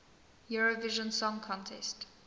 eurovision song contest